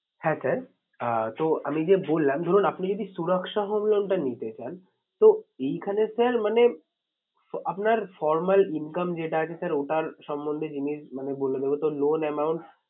হ্যাঁ sir আহ তো আমি যে বললাম ধরুন আপনি যদি home loan টা নিতে চান তো এইখানে sir মানে আপনার formal income যেটা আছে sir ওটার সমন্ধে জিনিস বলে দেবে তো loan amount